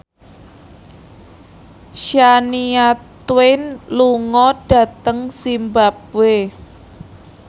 Shania Twain lunga dhateng zimbabwe